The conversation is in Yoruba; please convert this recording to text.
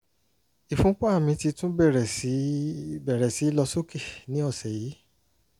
ìfúnpá mi ti tún bẹ̀rẹ̀ sí bẹ̀rẹ̀ sí lọ sókè ní ọ̀sẹ̀ yìí